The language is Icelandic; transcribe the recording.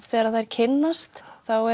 þegar þær kynnast